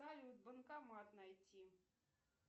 салют банкомат найти